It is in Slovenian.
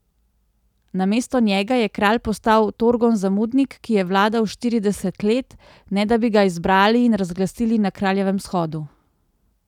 Namesto njega je kralj postal Torgon Zamudnik, ki je vladal štirideset let, ne da bi ga izbrali in razglasili na kraljevem shodu.